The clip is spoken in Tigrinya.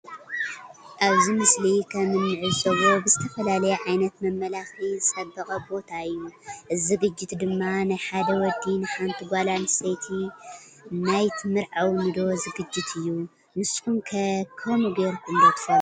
አብዚ ምስሊ ከም እንዕዞ ብዝተፈለየ ዓይነት መመላኪዒ ዝፀበቀ ቦታ እዩ። እዚ ዝግጅት ድማ ናይ ሓደ ወዲ ንሓነቲ ጋል አንስተየቲ ናይ ትምርዕውኒ ዶ ዝግጅት እዩ። ንስኩም ከ ከምኡ ገይሩኩም ዶ ትፈለጡ?